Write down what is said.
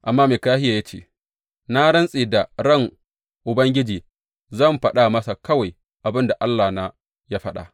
Amma Mikahiya ya ce, Na rantse da ran Ubangiji, zan faɗa masa kawai abin da Allahna ya faɗa.